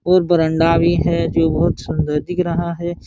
और बरंडा भी है जो बहुत सुन्दर दिख रहा है।